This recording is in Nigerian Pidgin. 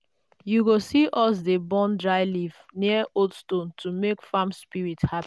you go see us dey burn dry leaf near old stone to make farm spirits happy.